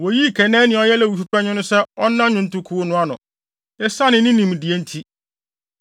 Woyii Kenania a ɔyɛ Lewifo panyin no sɛ ɔnna nnwontokuw no ano, esiane ne nimdeɛ nti.